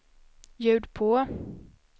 ljud på